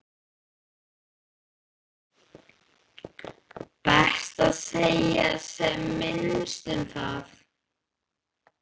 Best að segja sem minnst um það.